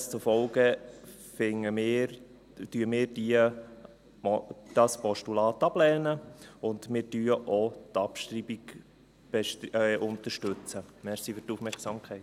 Demzufolge lehnen wir dieses Postulat ab, und wir unterstützen auch die Abschreibung.